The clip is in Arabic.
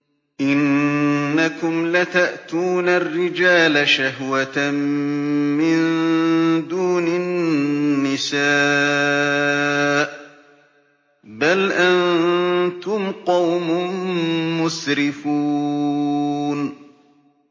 إِنَّكُمْ لَتَأْتُونَ الرِّجَالَ شَهْوَةً مِّن دُونِ النِّسَاءِ ۚ بَلْ أَنتُمْ قَوْمٌ مُّسْرِفُونَ